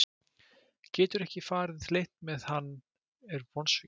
Getur ekki farið leynt með að hann er vonsvikinn.